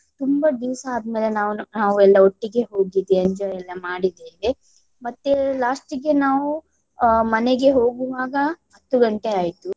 ತುಂಬಾ ದಿವ್ಸ ಆದ್ಮೇಲೆ ನಾವು ನಾವೆಲ್ಲಾ ಒಟ್ಟಿಗೆ ಹೋಗಿದ್ದೆ enjoy ಎಲ್ಲ ಮಾಡಿದ್ದೇವೆ. ಮತ್ತೆ last ಗೆ ನಾವು ಅಹ್ ಮನೆಗೆ ಹೋಗುವಾಗ ಹತ್ತು ಗಂಟೆ ಆಯಿತು.